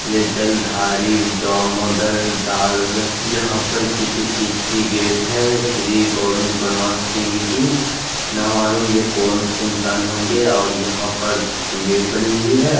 ये जलधारी दामोदर दार यहां पर किसी चीज की गेट है श्री गोविंद परमा सिंह की ना मालूम है कौन से इंसान होंगे और यहां पर गेट बनी हुई है--